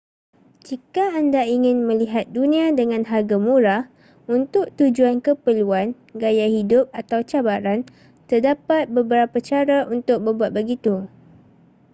jika anda ingin melihat dunia dengan harga murah untuk tujuan keperluan gaya hidup atau cabaran terdapat beberapa cara untuk berbuat begitu